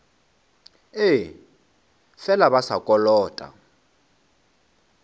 ee fela ba sa kolota